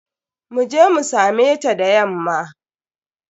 Mu je mu same ta da yamma.